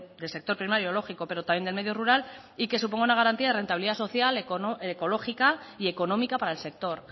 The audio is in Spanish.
del sector primario lógico pero también del medio rural y que suponga una garantía de rentabilidad social ecológica y económica para el sector